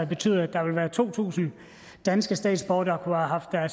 betyde at der er to tusind danske statsborgere der